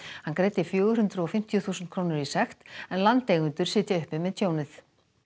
hann greiddi fjögur hundruð og fimmtíu þúsund krónur í sekt en landeigendur sitja uppi með tjónið